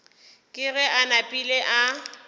ke ge a napile a